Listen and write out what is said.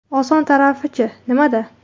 Oson tarafi-chi nimada?